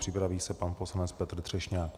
Připraví se pan poslanec Petr Třešňák.